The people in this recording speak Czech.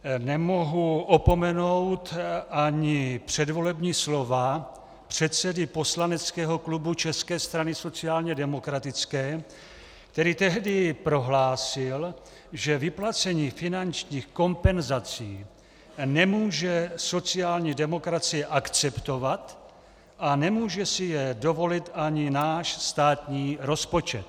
Nemohu opomenout ani předvolební slova předsedy poslaneckého klubu České strany sociálně demokratické, který tehdy prohlásil, že vyplacení finančních kompenzací nemůže sociální demokracie akceptovat a nemůže si je dovolit ani náš státní rozpočet.